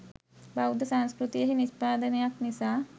බෞද්ධ සංස්කෘතියෙහි නිෂ්පාදනයක් නිසා